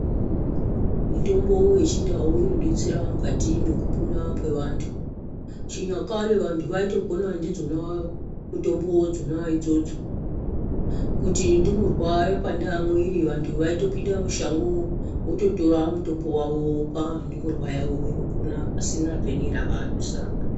Mitombo yechindau inodetsera mukatimo mwekupona kwevantu. Chinyakare vantu vaitopona ndidzona mitombo dzona idzodzo. Kuti ndumurwa yapanda mwiri vantu vaipinda mushango vototora mitombo wawo vopa ndumurwa yavo pona pasina peni ravadusa.